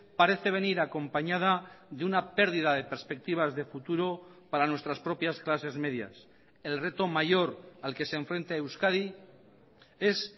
parece venir acompañada de una pérdida de perspectivas de futuro para nuestras propias clases medias el reto mayor al que se enfrenta euskadi es